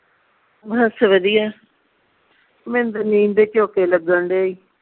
ਬਸ ਵਧੀਆ ਮੈਨੂੰ ਤੇ ਨੀਂਦ ਦੇ ਝੋਕੇ ਲੱਗਣ ਦਏ ਈ